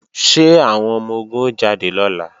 Ṣé àwọn ọmọ-ogun ó jáde lọ́la?